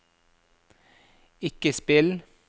ikke spill